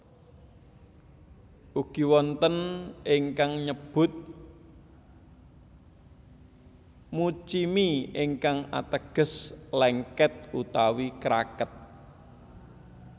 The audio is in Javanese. Ugi wonten ingkang nyebut muchimi ingkang ateges lèngkèt utawi kraket